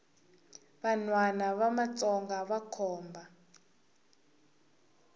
vanhwana va matsonga vakhomba